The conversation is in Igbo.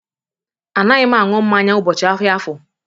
Anaghị m aṅụ mmanya ụbọchị ahịa afọr.